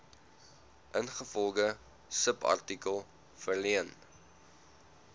ingevolge subartikel verleen